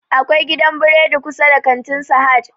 Akwai gidan buredi kusa da kantin sahad